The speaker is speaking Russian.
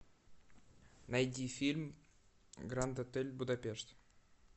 найди фильм гранд отель будапешт